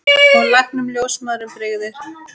Og læknum og ljósmæðrum brygði.